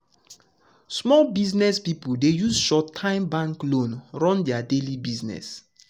small business people dey use short-time bank loan run their daily business.